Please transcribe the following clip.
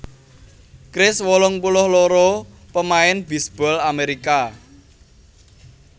Kris wolung puluh loro pamain bisbol Amerika